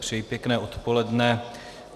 Přeji pěkné odpoledne.